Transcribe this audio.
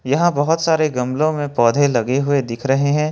यहां बहुत सारे गमले में पौधे लगे हुए दिख रहे हैं।